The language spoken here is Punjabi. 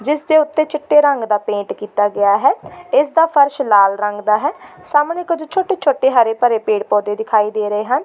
ਜਿਸ ਦੇ ਉੱਤੇ ਚਿੱਟੇ ਰੰਗ ਦਾ ਪੇਂਟ ਕੀਤਾ ਗਿਆ ਹੈ ਇਸ ਦਾ ਫਰਸ਼ ਲਾਲ ਰੰਗ ਦਾ ਹੈ ਸਾਹਮਣੇ ਕੁੱਝ ਛੋਟੇ-ਛੋਟੇ ਹਰੇ-ਭਰੇ ਪੇੜ੍ਹ ਪੌਦੇ ਦਿਖਾਈ ਦੇ ਰਹੇ ਹਨ।